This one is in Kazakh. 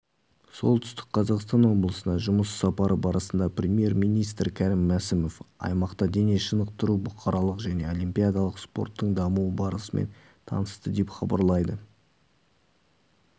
солтүстік қазақстан облысына жұмыс сапары барысында премьер-министрі кәрім мәсімов аймақта дене шынықтыру бұқаралық және олимпиадалық спорттың дамуы барысымен танысты деп хабарлайды